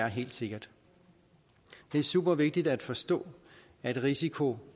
helt sikkert det er supervigtigt at forstå at risiko